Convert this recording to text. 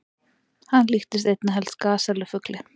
Hann líktist einna helst gasellu-fugli.